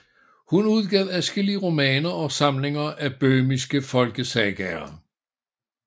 Hun udgav adskillige romaner og samlinger af böhmiske folkesagaer